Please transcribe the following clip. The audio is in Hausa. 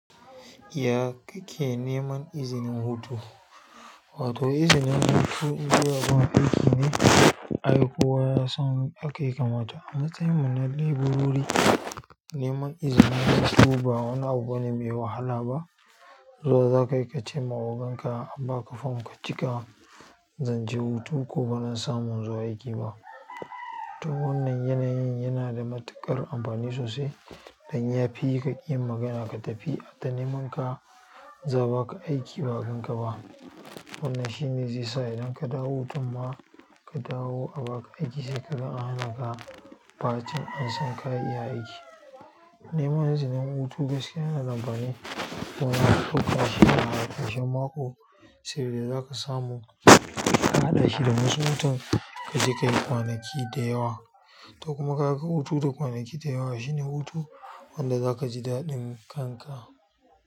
Ya kake neman izinin hutu? Wato izinin hutu zuwa zaman aiki ne, aiko yasan ake kamata. A matsayin munadi bururi, neman izinin hutu ba wani abu ne mai wahala ba. Zuwa za ka yi ka ce ma ogan ka an ba ka fom ka cika, zan je hutu ko bana samun zuwa aiki ba. To wannan yanayin yana da matuƙar amfani sosai dan ya fi ka yi magana ka tafi, an ta neman ka, za a ba ka aiki ba'a ganka ba. Wannan shi ne zai sa idan ka dawo tofa ka dawo a ba ka aiki sai ka ga an hana ka, ba cin an san ka ya iya aiki. Neman izinin hutu gaske yana da amfani domin to kashi na har kashen mako, sai da za ka samu, ka haɗa shi da wasu watan ka ji ka yi kwanaki da yawa. To kuma ka ga hutu da kwanaki da yawa shine hutu wanda za ka ji daɗin kanka.